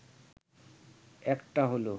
একটা হলো